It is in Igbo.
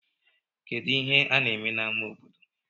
Kedụ ihe ha na-eme n'amá obodo?